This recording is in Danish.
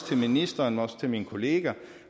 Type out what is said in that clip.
til ministeren og til mine kolleger